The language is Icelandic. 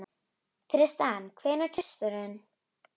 Tristana, hvenær kemur þristurinn?